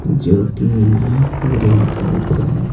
जो कि यहां ग्रीन कलर का है।